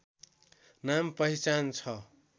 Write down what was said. नाम पहिचान छ